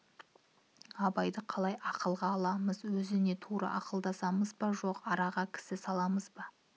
абайды қалай ақылға аламыз өзіне тура ақылдасамыз ба жоқ араға кісі саламыз ба